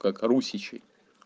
как русичей